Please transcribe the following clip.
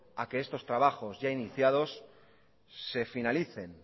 a que estos proyectos ya iniciados se finalicen